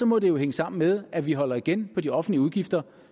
må det jo hænge sammen med at vi holder igen på de offentlige udgifter